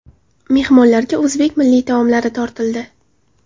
Mehmonlarga o‘zbek milliy taomlari tortildi.